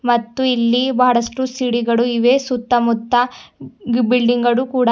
ಮತ್ತು ಇಲ್ಲಿ ಬಹಳಷ್ಟು ಚಿಡಿಗಳು ಇವೆ ಸುತ್ತಮುತ್ತ ಬಿಲ್ಡಿಂಗಳು ಕೂಡ--